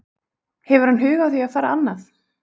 Hefur hann hug á því að fara annað?